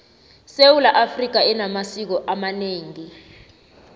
sewula afrika enamasiko amaneengi